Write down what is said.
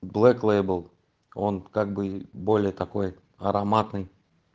блёк лейбл он как бы более такой ароматный